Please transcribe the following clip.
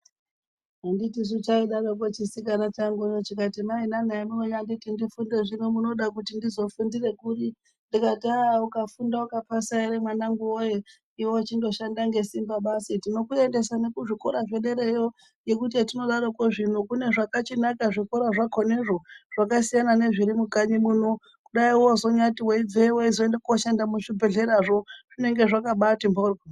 Handiti chaidaroko chisika changu kuti mainyanai hamunonditi ndifunde zvinonmunoda kuti ndizofundire kuri ndikati ahh ukafunda ukapasa ere mwanangu woye iwe chindoshanda ngesimba basi tinokuendesa nekuzvikora zvederayo ngekuti hetinodarokozvino kune zvakachinaka zvikora zvakhonezvo zvakasiyana nezviri mukanyi. muno. kudai wozonyatinweibveyo weizoenda koshanda muzvibhehleramwo zvinenge zvakabati mhoryo.